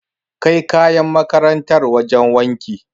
Kai kayan makarantar wajen wanki.